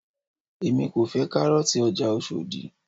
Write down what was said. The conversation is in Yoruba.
èmi kò fẹ́ kárọ̀ọ̀tì ọjà Oshodi